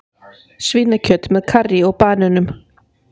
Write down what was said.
Svínakjöt með karrí og banönum